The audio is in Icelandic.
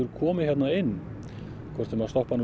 hvort sem þær stoppa nú lengi eða ekki